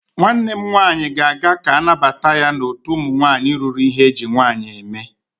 Nwanne m nwaanyị ga-aga ka a nabata ya n'otu ụmụ nwaanyị ruru ihe eji nwaanyị eme.